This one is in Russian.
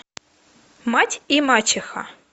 мать и мачеха